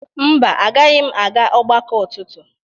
Mba, agaghị m aga ọgbakọ ụtụtụ